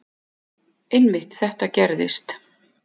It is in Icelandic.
Einmitt þetta gerðist.